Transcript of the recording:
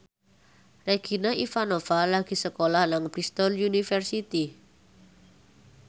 Regina Ivanova lagi sekolah nang Bristol university